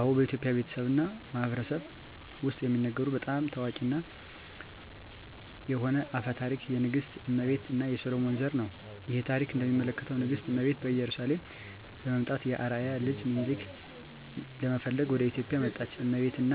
አዎ፣ በኢትዮጵያ ቤተሰብ እና ማህበረሰብ ውስጥ የሚነገሩ በጣም ታዋቂ የሆነ አፈ ታሪክ የንግሥት እመቤት እና የሰሎሞን ዘር ነው። ይህ ታሪክ እንደሚያመለክተው ንግሥት እመቤት ከኢየሩሳሌም በመምጣት የአርአያ ልጅ ሚኒሊክን ለመፈለግ ወደ ኢትዮጵያ መጣች። እመቤት እና